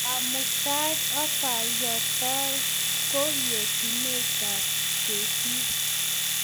Kamuitaet ak keyoktogei ko yateiywotap kesir